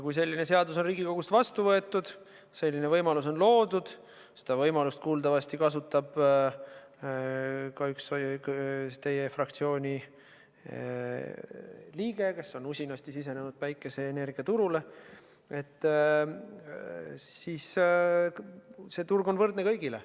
Kui selline seadus on Riigikogus vastu võetud, selline võimalus on loodud – seda võimalust kasutab kuuldavasti ka üks teie fraktsiooni liige, kes on usinasti sisenenud päikeseenergiaturule –, siis on see turg võrdne kõigile.